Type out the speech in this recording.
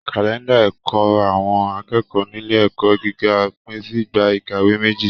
Kalẹnda ẹkọ àwọn akẹ́kọ̀ọ́ nílé ẹ̀kọ́ gíga pin sí ìgbà ìkàwé méjì.